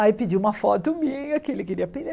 Aí pediu uma foto minha, que ele queria pedir.